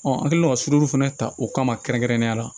an kɛlen ka suru fana ta o kama kɛrɛnkɛrɛnnenya la